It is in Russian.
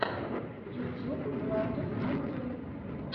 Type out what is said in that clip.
ютюб владус обзор